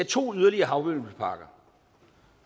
to yderligere havvindmølleparker